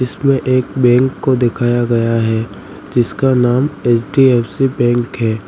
इसमें एक बैंक को दिखाया गया है जिसका नाम एच_डी_एफ_सी बैंक है।